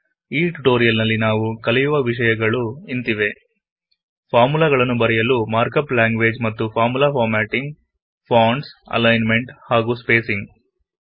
ಈ ಟ್ಯುಟೊರಿಯಲ್ ನಲ್ಲಿ ನಾವು ಕಲಿಯುವ ವಿಷಯಗಳು ಇಂತಿವೆ ಫಾರ್ಮುಲಾಗಳನ್ನು ಬರೆಯಲು ಮಾರ್ಕಪ್ ಲಾಂಗ್ವೆಜ್ ಮತ್ತು ಫಾರ್ಮುಲಾ ಫಾರ್ಮೆಟಿಂಗ್160 ಫಾಂಟ್ಸ್ ಅಲೈನ್ಮೆಂಟ್ ಹಾಗು ಸ್ಪೇಸಿಂಗ್